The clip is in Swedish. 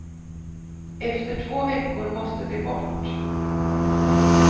Efter två veckor måste de bort.